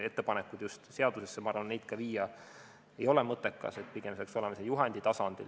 Ettepanek just seadusesse, ma arvan, seda viia ei ole mõttekas, pigem peaks olema see juhendi tasandil.